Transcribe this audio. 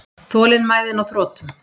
Þolinmæðin á þrotum.